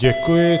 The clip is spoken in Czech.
Děkuji.